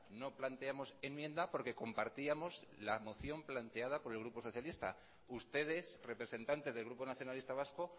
no planteamos enmienda porque compartíamos la moción planteado por el grupo socialista ustedes representantes del grupo nacionalista vasco